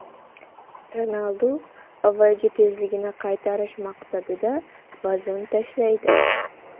Ronaldu avvalgi tezligini qaytarish maqsadida vazn tashlaydi.